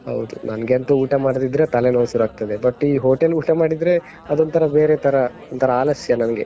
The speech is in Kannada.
ಹೌದು, ನನ್ಗೆ ಅಂತೂ ಊಟ ಮಾಡದಿದ್ರೆ ತಲೆನೋವು ಸುರು ಆಗ್ತದೆ. but ಈ hotel ಊಟ ಮಾಡಿದ್ರೆ ಅದೊಂತರ ಬೇರೆ ತರ, ಒಂತರ ಆಲಸ್ಯ ನನ್ಗೆ.